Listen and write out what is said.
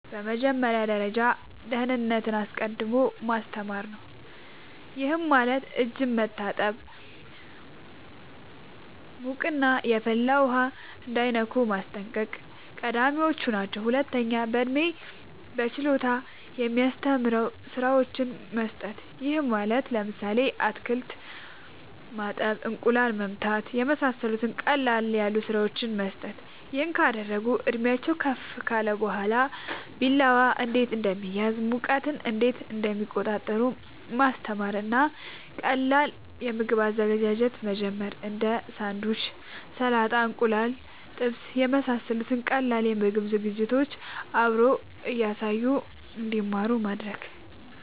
በመጀመሪያ ደረጃ ደህንነትን አስቀድሞ ማስተማር ነዉ ይሄም ማለት እጅን መታጠብ ሙቅና የፈላ ውሃ እንዳይነኩ ማስጠንቀቅ ቀዳሚወች ናቸው ሁለተኛ በእድሜና በችሎታ የሚስማሙ ስራወችን መስጠት ይሄም ማለት ለምሳሌ አትክልት ማጠብ እንቁላል መምታት የመሳሰሉት ቀለል ያሉ ስራወችን መስጠት ይሄን ካደረጉ እድሜአቸውም ከፍ ካለ በኋላ ቢላዋ እንዴት እንደሚያዝ ሙቀት እንዴት እንደሚቆጣጠሩ ማስተማር እና ከቀላል የምግብ አዘገጃጀት መጀመር እንዴ ሳንዱች ሰላጣ እንቁላል ጥብስ የመሳሰሉት ቀላል የምግብ ዝግጅቶችን አብሮ እያሳዩ እንድማሩ ማድረግ